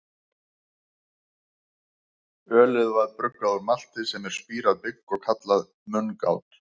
Ölið var bruggað úr malti, sem er spírað bygg, og kallað mungát.